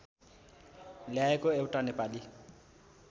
ल्याएको एउटा नेपाली